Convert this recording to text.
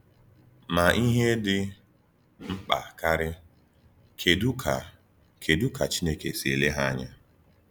Ma ihe dị mkpa karị, kedu ka kedu ka Chineke si ele ya anya?